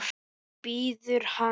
Svo bíður hann.